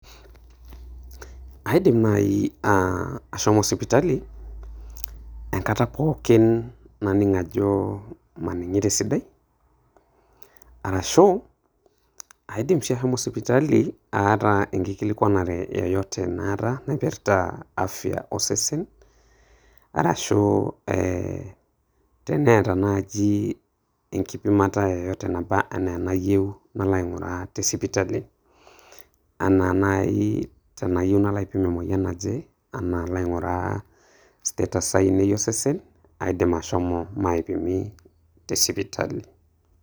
Aidim nai ah ashomo sipitali enkata pookin naning' ajo maning'ito esidai, arashu aidim si ashomo sipitali aata enkikilikwanare yoyote naata naipirta afya osesen, arashu eh teneeta naaji enkipimata yoyote naba enaa enayieu alo aing'uraa te sipitali. Ena nai teneyieu nalo aipim emoyian naje ena nalo ang'uraa status ainei osesen, aidim ashomo maipimi te sipitali.